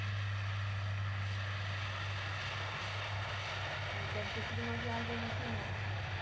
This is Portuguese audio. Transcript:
Mas deve ter sido uma viagem emocionante essa.